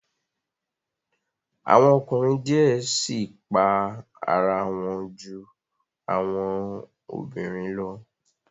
Awọn ọkunrin diẹ sii pa ara wọn ju awọn obinrin lọ